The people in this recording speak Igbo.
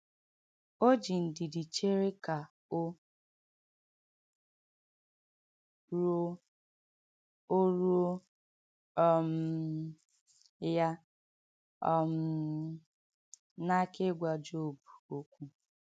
O ji ndidi chere ka o ruo o ruo um ya um n’aka ịgwa Job okwu.